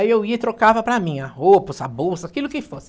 Aí eu ia e trocava para mim, a roupa, a bolsa, aquilo que fosse.